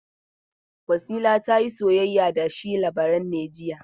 Wasila ta yi soyayya da shi Labaran ne jiya?